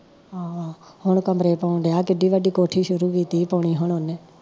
ਆਹੋ ਆਹੋ ਹੁਣ ਕਮਰੇ ਪਾਉਣ ਡਿਆ ਕਿੰਨੀ ਵੱਡੀ ਕੋਠੀ ਸ਼ੁਰੂ ਕੀਤੀ ਪਾਉਣੀ ਹੁਣ ਉਹਨੇ